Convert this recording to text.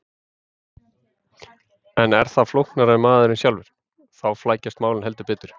En er það flóknara en maðurinn sjálfur? Þá flækjast málin heldur betur.